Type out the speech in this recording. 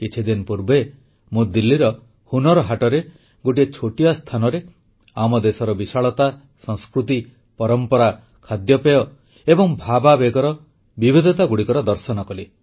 କିଛିଦିନ ପୂର୍ବେ ମୁଁ ଦିଲ୍ଲୀର ହୁନର୍ ହାଟରେ ଗୋଟିଏ ଛୋଟିଆ ସ୍ଥାନରେ ଆମ ଦେଶର ବିଶାଳତା ସଂସ୍କୃତି ପରମ୍ପରା ଖାଦ୍ୟପେୟ ଏବଂ ଭାବାବେଗର ବିବିଧତାଗୁଡ଼ିକର ଦର୍ଶନ କଲି